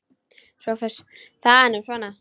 SOPHUS: Það er nú svona.